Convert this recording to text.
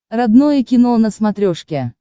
родное кино на смотрешке